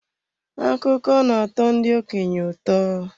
Akụkọ na-atọ ndị okenye ụtọ.